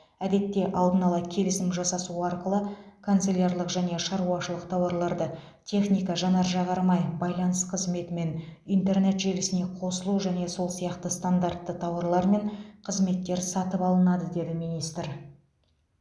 әдетте алдын ала келісім жасасу арқылы канцелярлық және шаруашылық тауарлары техника жанар жағармай байланыс қызметі мен интернет желісіне қосылу және сол сияқты стандартты тауарлар мен қызметтер сатып алынады деді министр